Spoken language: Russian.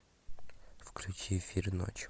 включи фир ночь